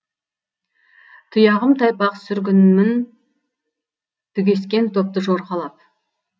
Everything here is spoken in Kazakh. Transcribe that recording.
тұяғым тайпақ сүргінмін түгескен топты жорғалап